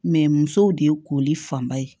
musow de ye koli fanba ye